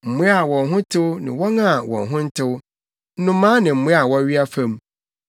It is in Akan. Mmoa a wɔn ho tew ne wɔn a wɔn ho ntew, nnomaa ne mmoa a wɔwea fam,